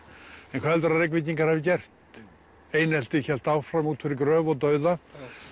en hvað heldurðu að Reykvíkingar hafi gert eineltið hélt áfram út fyrir gröf og dauða